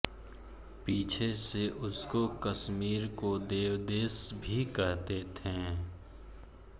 पीछे से उसको कश्मीर को देवदेश भी कहते थे